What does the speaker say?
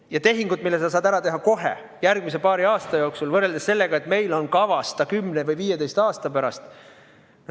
Ja ühe tehingu me saame ära teha kohe järgmise paari aasta jooksul, teine aga on kavas 10 või 15 aasta pärast.